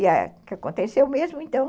E aconteceu mesmo, então.